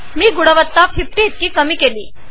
मी गुणवत्ता ५० इतकी कमी केली आहे